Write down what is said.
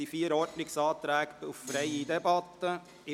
Es liegen vier Ordnungsanträge auf freie Debatte vor.